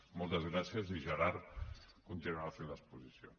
moltes gràcies i en gerard continuarà fent l’exposició